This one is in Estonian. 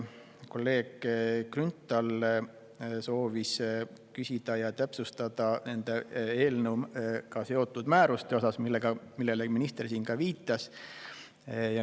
Kolleeg Grünthal soovis küsida eelnõuga seotud määruste kohta, millele minister ka siin viitas.